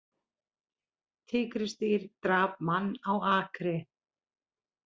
Tígrisdýr drap mann á akri